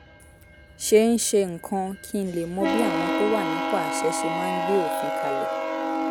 ṣe ń ṣe nǹkan kí n lè mọ bí àwọn tó wà nípò àṣẹ ṣe máa ń gbé òfin kalẹ̀